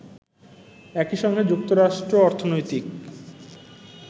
একইসঙ্গে যুক্তরাষ্ট্র অর্থনৈতিক